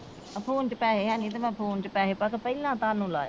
Phone ਚ ਪੈਸੇ ਹੈਨੀ ਤੇ ਮੈ ਫੋਨ ਚ ਪੈਸੇ ਪਾ ਕੇ ਪਹਿਲਾ ਤੁਹਾਨੂੰ ਲਾਇਆ।